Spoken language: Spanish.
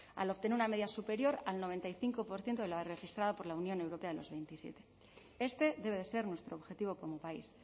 al obtener una media superior al noventa y cinco por ciento de la registrada por la unión europea de los veintisiete este debe ser nuestro objetivo como país